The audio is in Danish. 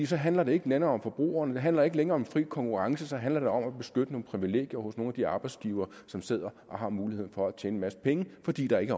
så handlede det ikke længere om forbrugeren det handlede ikke længere om fri konkurrence så handlede det om at beskytte nogle privilegier hos nogle af de arbejdsgivere som sidder og har muligheden for at tjene en masse penge fordi der ikke